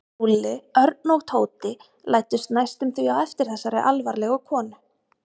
Lúlli, Örn og Tóti læddust næstum því á eftir þessari alvarlegu konu.